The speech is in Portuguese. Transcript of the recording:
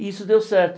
E isso deu certo.